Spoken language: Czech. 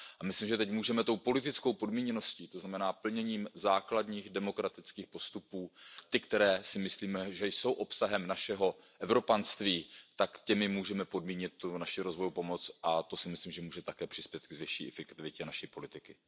A myslím, že teď můžeme tou politickou podmíněností, to znamená plněním základních demokratických postupů, ty které si myslíme, že jsou obsahem našeho Evropanství, tak těmi můžeme podmínit tu rozvojovou pomoc, a to si myslím, že taky může přispět k větší efektivitě naší politiky.